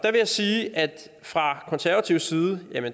jeg sige at vi fra konservativ side